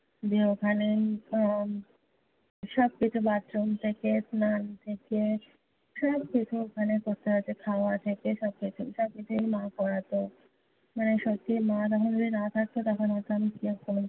যে ওখানে উহ আহ সবকিছু, bathroom থেকে, স্নান থেকে, সবকিছু ওখানে করতে হয়েছে খাওয়া থেকে সবকিছু। সবকিছুই মা করাতো। মানে সত্যি মা তখন যদি না থাকতো, তখন হয়ত আমি